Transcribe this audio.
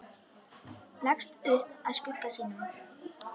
Leggst upp að skugga sínum.